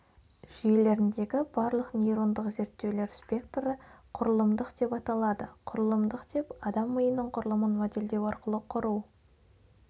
жүйелеріндегі барлық нейрондық зерттеулер спектрі құрылымдық деп аталды құрылымдық деп адам миының құрылымын модельдеу арқылы құру